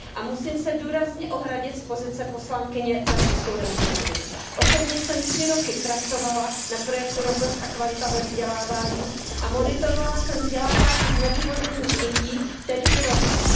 Musím se důrazně ohradit z pozice poslankyně za Českou republiku. Osobně jsem 3 roky pracovala na projektu Rovnost a kvalita ve vzdělávání a monitorovala jsem vzdělávání znevýhodněných dětí, tedy i romských.